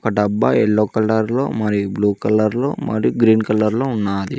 డబ్బా యెల్లో కలర్లో మరి బ్లూ కలర్లో మరి గ్రీన్ కలర్లో ఉన్నాది